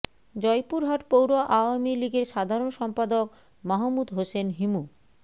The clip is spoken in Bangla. জয়পুরহাট পৌর আওয়ামী লীগের সাধারণ সম্পাদক মাহমুদ হোসেন হিমু